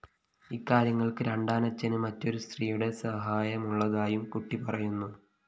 ഇക്കാര്യങ്ങള്‍ക്ക് രണ്ടാനച്ഛന് മറ്റൊരു സ്ത്രീയുടെ സഹായമുള്ളതായും കുട്ടി പറയുന്നു